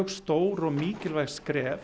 stór og mikilvæg skref